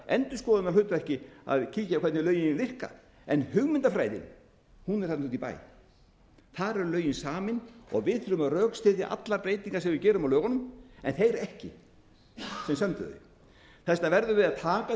í einhvers konar endurskoðunarhlutverki að kíkja á hvernig lögin virka en hugmyndafræðin er þarna úti í bæ þar eru lögin samin og við þurfum að rökstyðja allar breytingar sem við gerum á lögunum en þeir ekki sem sömdu þau þetta verðum við að taka